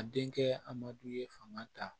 A denkɛ amadu ye fanga ta